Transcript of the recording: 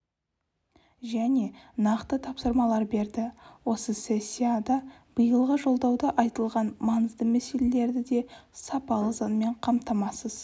және нақты тапсырмалар берді осы сессияда биылғы жолдауда айтылған маңызды мәселелерді де сапалы заңмен қамтамасыз